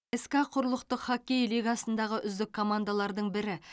ска құрлықтық хоккей лигасындағы үздік командалардың бірі